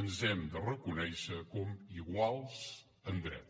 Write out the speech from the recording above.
ens hem de reconèixer com iguals en drets